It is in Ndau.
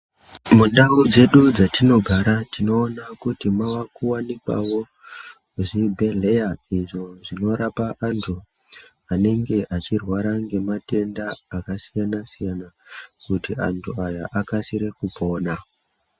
Mundau dzedu dzetinogara tinoona kuti mava kuwanikwawo zvibhedhleya izvo zvinorapa antu anenge vechirwara ngematenda akasiyana-siyana kuti antu aya akasire kupona.